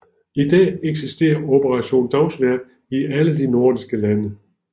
I dag eksisterer Operation Dagsværk i alle de nordiske lande